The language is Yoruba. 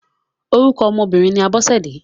Orúkọ ọmọ obìnrin ni Abọ́sẹ̀dé.